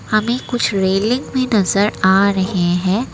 हमें कुछ रेलिंग भी नजर आ रहे हैं।